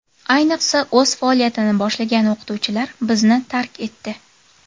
Ayniqsa, o‘z faoliyatini boshlagan o‘qituvchilar bizni tark etdi.